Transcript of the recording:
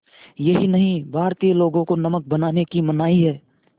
यही नहीं भारतीय लोगों को नमक बनाने की मनाही है